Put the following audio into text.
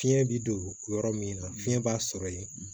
Fiɲɛ bi don yɔrɔ min na fiɲɛ b'a sɔrɔ ye